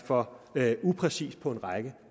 for upræcist på en række